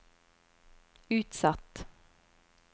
utsatt